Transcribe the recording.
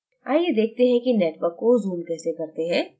आइए देखते हैं कि network को zoom कैसे करते हैं